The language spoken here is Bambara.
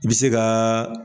I bi se ka.